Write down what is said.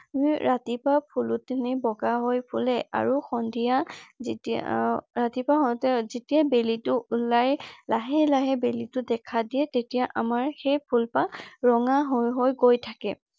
ৰাতিপুৱা ফুলখিনি বগা হৈ ফুলে আৰু সন্ধিয়া যেতিয়া আহ ৰাতিপুৱা হওতেঁ যেতিয়া বেলিটো ওলাই লাহে লাহে বেলিটো দেখা দিয়ে তেতিয়া আমাৰ সেই ফুলপাহ ৰঙা হৈ হৈ গৈ থাকে ।